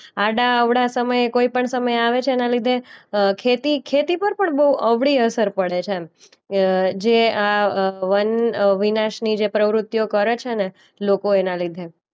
આડાઅવળા સમયે કોઈ પણ સમયે આવે છે એના લીધે અ ખેતી, ખેતી પર પણ બો અવળી અસર પડે છે એમ. અ જે આ અ વનવિનાશની જે પ્રવુતિઓ કરે છેને લોકો એના લીધે.